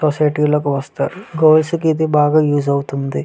Society లోకి వస్తారు girls కి బాగా ఊసే అవుతాయి బాగా వస్తారు.